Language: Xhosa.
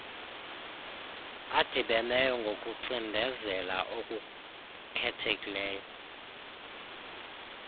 adibeneyo ngokucindezela okukhethekileyo